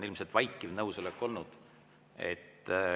Ilmselt on vaikiv nõusolek olnud.